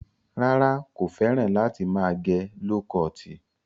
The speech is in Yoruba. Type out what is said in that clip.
Rárá, kò fẹ́ràn láti máa gẹ ló kọọ̀tì.